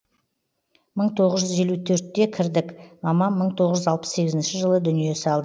мың тоғыз жүз елу төртте кірдік мамам мың тоғыз жүз алпыс сегізінші жылы дүние салды